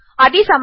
అదీ సమస్య